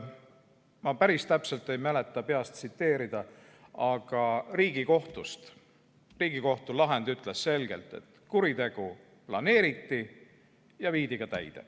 Ma päris täpselt peast ei mäleta, aga Riigikohtu lahend ütles selgelt, et kuritegu planeeriti ja viidi ka täide.